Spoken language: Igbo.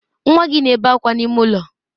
Nwa gị na-ebe akwa n'ime ụlọ.